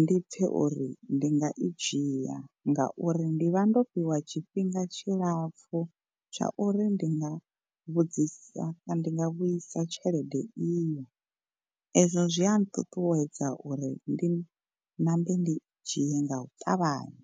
ndi pfe uri ndi nga i dzhia ngauri ndi vha ndo fhiwa tshifhinga tshilapfu tsha uri ndi nga vhudzisa ndi nga vhuisa tshelede iyo. Ezwo zwi a nṱuṱuwedza uri ndi nambe ndi dzhie nga u ṱavhanya.